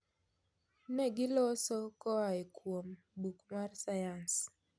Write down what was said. Ne giloso koae kuom buk mar sayans.